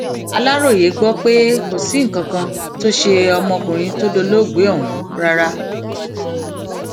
aláròye gbọ pé kò sí nǹkan kan tó ṣe ọmọkùnrin tó dolóògbé ọhún rárá